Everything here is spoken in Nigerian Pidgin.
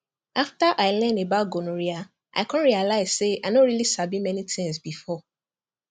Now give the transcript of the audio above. after i learn about gonorrhea i come realize say i no really sabi many things before